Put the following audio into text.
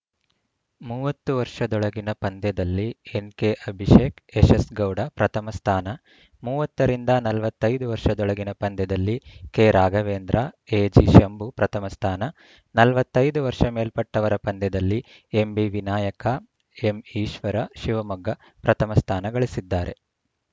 ಮೂವತ್ತು ವರ್ಷದೊಳಗಿನ ಪಂದ್ಯದಲ್ಲಿ ಎನ್‌ಕೆಅಭಿಷೇಕ ಯಶಸ್‌ಗೌಡ ಪ್ರಥಮ ಸ್ಥಾನ ಮೂವತ್ತ ರಿಂದ ನಲವತ್ತ್ ಐದು ವರ್ಷದೊಳಗಿನ ಪಂದ್ಯದಲ್ಲಿ ಕೆರಾಘವೇಂದ್ರ ಎಜಿಶಂಭು ಪ್ರಥಮ ಸ್ಥಾನ ನಲವತ್ತ್ ಐದು ವರ್ಷ ಮೇಲ್ಪಟ್ಟವರ ಪಂದ್ಯದಲ್ಲಿ ಎಂಬಿವಿನಾಯಕ ಎಂಈಶ್ವರಶಿವಮೊಗ್ಗ ಪ್ರಥಮ ಸ್ಥಾನಗಳಿಸಿದ್ದಾರೆ